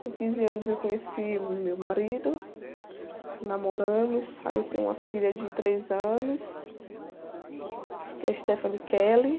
Com quinze anos eu conheci meu marido, namoramos, aí eu tenho uma filha de três anos, que é a.